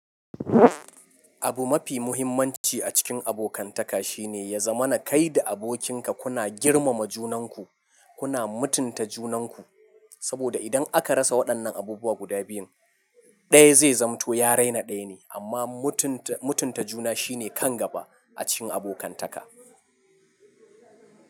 Abu mafi muhimmanci a cikin abokantaka shine ya zama na kai da abokinka kuna girmama junanku, kuna mutunta junanku. Saboda idan aka rasa waɗannan abubuwa guda biyun, ɗaya zai zamto ya raina ɗaya ne. Amma mutunta mutunta juna shine, kan gaba a cikin abokantaka.